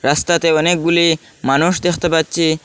রাস্তাতে অনেকগুলি মানুষ দেখতে পাচ্চি।